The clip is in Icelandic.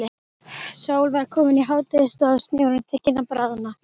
Sól var komin í hádegisstað og snjórinn tekinn að bráðna.